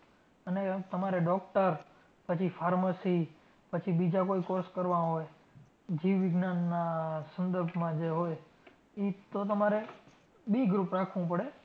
અને તમારે doctor પછી pharmacy પછી બીજા કોઈ course કરવા હોય, જીવવિજ્ઞાનના સંદર્ભમાં જે હોય તો તમારે B group રાખવું પડે.